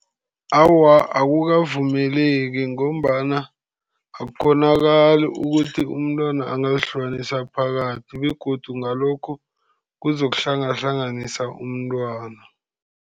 Awa, akukavumeleki. Ngombana akukghonakali ukuthi umntwana angazihlukanisa phakathi, begodu ngalokhu, kuzokuhlangahlanganisa umntwana.